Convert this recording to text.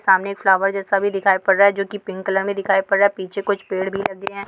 सामने एक फ्लावर जैसा भी दिखाई पड़ रहा है जो की पिंक कलर मे दिखाई पड़ रहा है पीछे कुछ पेड़ भी लगे है।